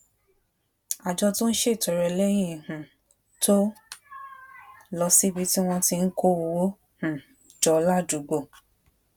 àjọ tó ń ṣètọrẹ lẹyìn um tó lọ síbi tí wón ti ń kó owó um jọ ládùúgbò